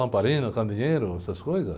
Lamparina, candeeiro, essas coisas...